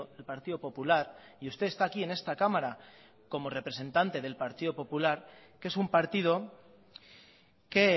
el partido popular y usted está aquí en esta cámara como representante del partido popular que es un partido que